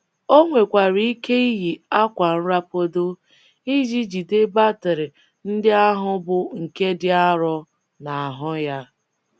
O nwekwara ike iyi akwa nrapado iji jide batrị ndị ahụ, bụ́ nke dị arọ, n’ahụ́ ya.